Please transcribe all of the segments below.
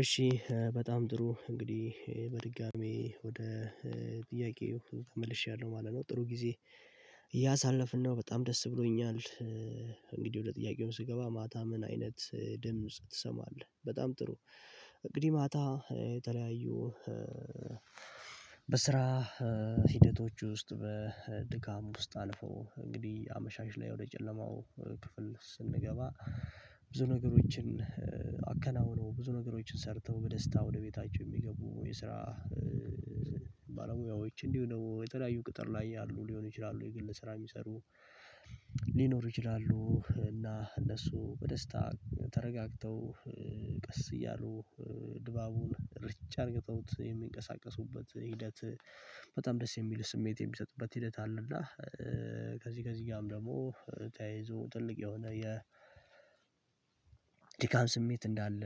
እሺ በጣም ጥሩ እንግዲህ በድጋሚ ወደ ጥያቄው ተመልሻለሁ ማለት ነው ጥሩ ጊዜ እያሳለፍን ነው በጣም ደስ ብሎኛል። እንግዲህ ወደ ጥያቄውን ስገባ ማታ ምን አይነት ድምጽ ትሰማለህ? በጣም ጥሩ። እንግዲህ ማታ የተለያዩ በስራ ሂደቶች ውስጥ በድካም ውስጥ አልፎ እንግዲህ አመሻሽ ላይ ወደ ጨለማው ክፍል ስንገባ ብዙ ነገሮችን አከናውነው ብዙ ነገሮችን ሰርተው በደስታ ወደ ቤታቸው የሚገቡ የስራ ባለሙያዎች እንዲሁ ደግሞ የተለያዩ ቅጥር ላይ ያሉ ሊሆን ይችላሉ የግል ስራ የሚሰሩ ሊኖሩ ይችላሉ። እና እነሱ በደስታ ተረጋግተው ቀስ እያሉ ድባቡን ርጭ አድርገውት የሚንቀሳቀሱበት ሂደት በጣም ደስ የሚል ስሜት የሚሰጥበት ሂደት አለ። እና ከዚህ ከዚህ ጋርም ደግሞ ተያይዞ ትልቅ የሆነ የ ድካም ስሜት እንዳለ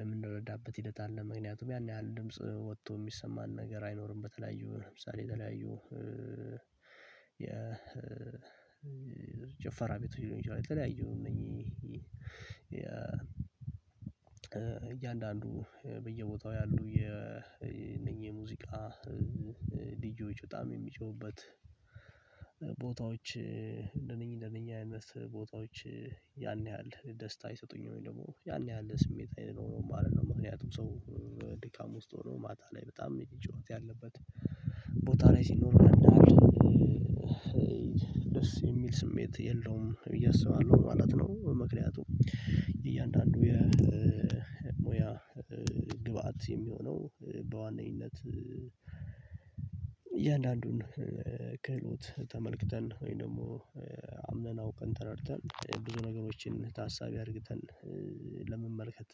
የምንረዳበት ሂደት አለ። ምክንያቱም ያን ያህል ድምጽ ወጥቶ የሚሰማን ነገር አይኖርም። በተለያዩ ለምሳሌ የተለያዩ የጨፈራ ቤት ይሉኝ እንጅ የተለያዩ እነኚህ እያንዳንዱ በየቦታው ያሉ የነኚህ ሙዚቃ ዲጄ ጩኋትም የሚጮህበት ቦታዎች እንደነኚህ እንደነኚህ አይነት ቦታዎች ያን ያህል ደስታ ይሰጡኝ ነበር። ያን ያህል ስሜት አይደለም ማለት ነው። ምክንያቱም ሰው ድካም ውስጥ ሆኖ ማታ ላይ በጣም ጨዋታ ያለበት ቦታ ላይ ሲኖር ይረዳል። ደስ የሚል ስሜት የለውም ብዬ አስባለሁ ማለት ነው። ምክንያቱም እያንዳንዱ የሙያ ግብአት የሚሆነው በዋነኝነት በዋናነት እያንዳንዱን ክህሎት ተመልክተን ወይም ደግሞ አምነን አውቀን ተረድተን ብዙ ነገሮችን ታሳቢ አድርግተን ለመመልከት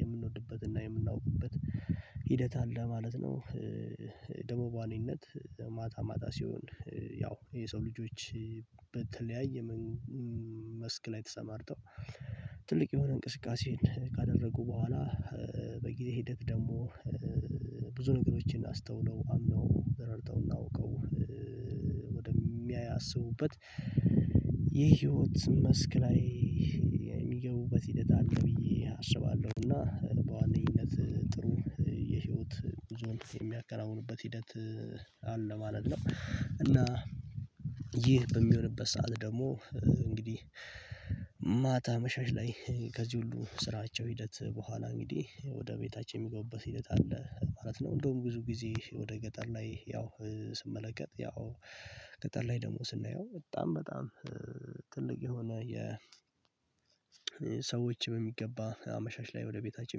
የምንወድበትና የምናውቅበት ሂደት አለ ማለት ነው። ደሞባኒነት ማታ ማታ ሲሆን ያው የሰው ልጆች በተለያየ መስክ ላይ ተሰማርተው ትልቅ የሆነ እንቅስቃሴን ካደረጉ በኋላ በጊዜ ሂደት ደግሞ ብዙ ነገሮችን አስተውለው አምነው ረድተው እናውቀው ወደሚያስቡበት የህይወት መስክ ላይ የሚገቡበት ሂደት አለ። ብዬ አስባለሁ። እና በዋነኝነት ጥሩ የህይወት ብዙም የሚያከናውንበት ሂደት አለ ማለት ነው። እና ይህ በሚሆንበት ሰዓት ደግሞ እንግዲህ ማታ አመሻሻ ላይ ከዚህ ሁሉ ስራቸው ሂደት በኋላ እንግዲህ ወደ ቤታችን የሚገቡበት ሂደት አለ ማለት ነው። እንደውም ብዙ ጊዜ ወደ ገጠር ላይ ያው ስመለከት ያው ገጠር ላይ ደግሞ ስናየው በጣም በጣም ትልቅ የሆነ የ ሰዎች በሚገባ አመሻሽ ላይ ወደ ቤታችን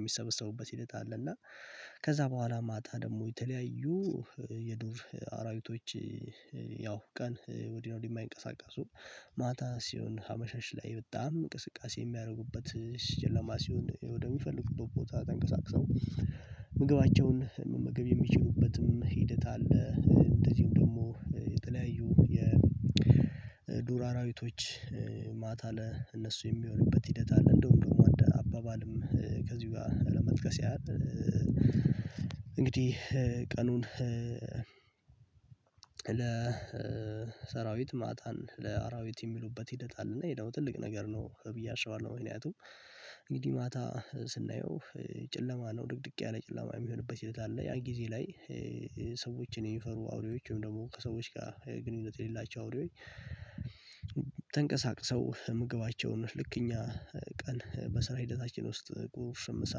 የሚሰበሰቡበት ሂደት አለ። እና ከዛ በኋላ ማታ ደግሞ የተለያዩ የዱር አራዊቶች ቀን ወዲያው የሚንቀሳቀሱ ማታ ሲሆን አመሸሽ ላይ በጣም እንቅስቃሴ የሚያደርጉበት ጨላማ ሲሆን ወደሚፈልጉበት ቦታ ተንቀሳቅሰው ምግባቸውን መመገብ የሚችሉበትም ሂደት አለ። እንደዚሁም ደግሞ የተለያዩ የዱር አራዊቶች ማታ ለእነሱ የሚሆንበት ሂደት አለ። እንደውም ደግሞ አባባልም ከዚሁ ጋር ለመጥቀስ ያህል እንግዲህ ቀኑን ለ ለሰራዊት ማታን ለአራዊት የሚሉበት ሂደት አለ። እና ይሄ ደግሞ ትልቅ ነገር ነው ብዬ አስባለሁ። ምክንያቱም እንግዲህ ማታ ስናየው ጨለማ ነው ድቅድቅ ያለ ጨለማ የሚሆንበት ሂደት አለ። ያ ጊዜ ላይ ሰዎችን የሚፈሩ አውሬዎችን ደግሞ ከሰዎች ጋር ግንኙነት የሌላቸው አውሬዎች። ተንቀሳቅሰው ምግባቸውን ልክ እንደ እኛ ቀን በስራ ሂደታችን ውስጥ ቁርስ ምሳ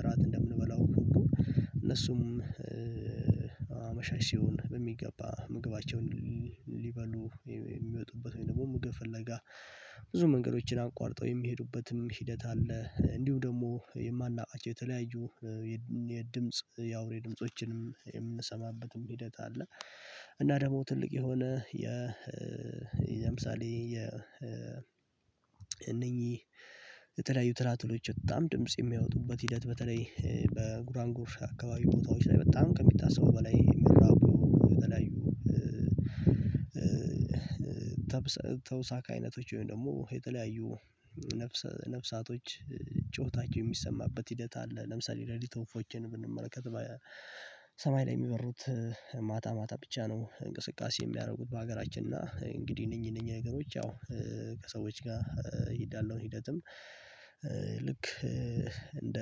እራት እንደምንበላው ወደ እነሱም አመሻሽ ሲሆን በሚገባ ምግባቸውን ሊበሉ የሚወጡበት ወይም ደግሞ ምግብ ፍለጋ ብዙ መንገዶችን አቋርጠው የሚሄዱበትም ሂደት አለ። እንዲሁ ደግሞ የማላውቀው የተለያዩ የድምጽ የአውሬ ድምጾችንም የምንሰማበትም ሂደት አለ። እና ደግሞ ትልቅ የሆነ የ የምሳሌ የ እነኚህ የተለያዩ ትላትሎች በጣም ድምጽ የሚያወጡበት ሂደት በተለይ በጉራንጎር አካባቢ ቦታዎች ላይ በጣም ከሚታሰቡ በላይ የሚራቡ በተለያዩ ተውሳካ አይነቶች ወይም ደግሞ የተለያዩ ነፍሳቶች ጩኸታቸው የሚሰማበት ሂደት አለ። ለምሳሌ የሌሊት ወፎችን ብንመለከት በሰማይ ላይ የሚበሩት ማታ ማታ ብቻ ነው። እንቅስቃሴ የሚያደርጉት በሀገራችን እና እንግዲህ እነኚህ እነኚህ ነገሮች ያው ከሰዎች ጋር ያለውን ሂደትም ልክ እንደ